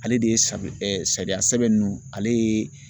Ale de ye sariya sɛbɛn nunnu ale ye